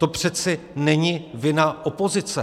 To přece není vina opozice.